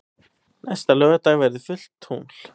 Næsta laugardag verður fullt tungl.